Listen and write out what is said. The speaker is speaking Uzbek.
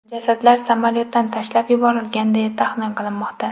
Jasadlar samolyotdan tashlab yuborilgan, deya taxmin qilinmoqda.